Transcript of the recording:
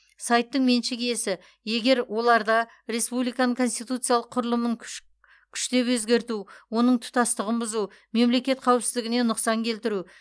сайттың меншік иесі егер оларда республиканың конституциялық құрылымын күш күштеп өзгерту оның тұтастығын бұзу мемлекет қауіпсіздігіне нұқсан келтіру